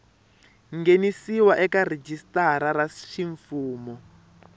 nghenisiwa eka rhijisitara ra ximfumu